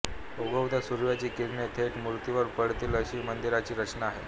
उगवत्या सूर्याची किरणे थेट मूर्तीवर पडतील अशी मंदिराची रचना आहे